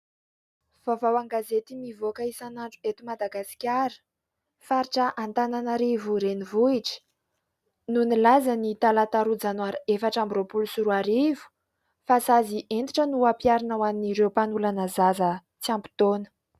Vaovao an-gazety mivoaka isanandro eto Madagasikara. Faritra Antananarivo renivohitra no nilaza ny talata roa janoary efatra amby roapolo sy roa arivo fa sazy entitra no ampiharina ho an'ireo mpanolana zaza tsy ampy taona.